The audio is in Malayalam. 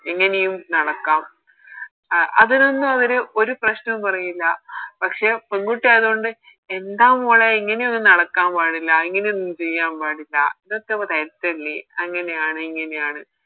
എങ്ങനെയും നടക്കാം അഹ് അതൊനൊന്നും അവര് ഒരു പ്രശ്നോം പറയില്ല പക്ഷെ പെങ്കുട്ടി ആയതുകൊണ്ട് എന്താ മോളെ ഇങ്ങനെയൊന്നും നടക്കാൻ പാടില്ല ഇങ്ങനെയൊന്നും ചെയ്യാൻ പാടില്ല ഇതൊക്കെ തെറ്റല്ലേ അങ്ങനെയാണ് ഇങ്ങനെയാണ്